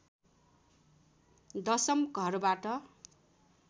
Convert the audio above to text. दशम घरबाट